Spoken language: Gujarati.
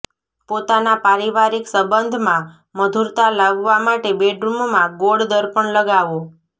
પોતાના પારિવારિક સંબંધમાં મધુરતા લાવવા માટે બેડરૂમમાં ગોળ દર્પણ લગાવો